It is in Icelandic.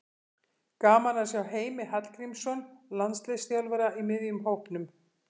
Gaman að sjá Heimi Hallgrímsson landsliðsþjálfara í miðjum hópnum.